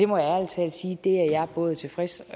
må ærlig talt sige at det er jeg både tilfreds